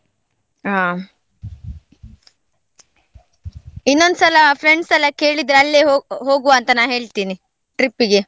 ಹಾ ಇನ್ನೊಂದ್ ಸಲ friends ಎಲ್ಲ ಕೇಳಿದ್ರೆ ಅಲ್ಲೇ ಹೊ~ ಹೋಗುವ ಅಂತ ನಾ ಹೇಳ್ತೀನಿ trip ಗೆ.